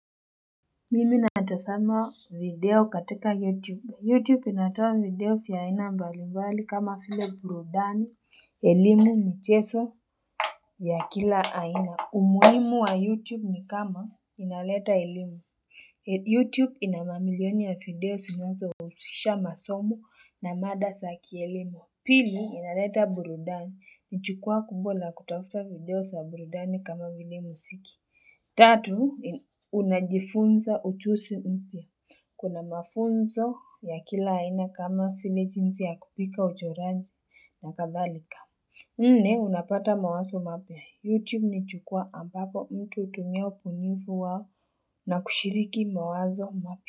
Mimi natazama video katika youtube youtube inatoa video vya aina mbali mbali kama vile burudani elimu michezo ya kila aina umuhimu wa youtube ni kama inaleta elimu youtube ina mamilioni ya video zinazo husisha masomo na mada za kielimu pili inaleta burudani ni jukwaa kubwa la kutafuta video za burudani kama vile muziki Tatu, unajifunza ujuzi mpya Kuna mafunzo ya kila haina kama vile jinsi ya kupika uchoraji na kadhalika. Nne, unapata mawazo mapya. YouTube ni jukwaa ambapo mtu hutumia ubunifu wao na kushiriki mawazo mapia.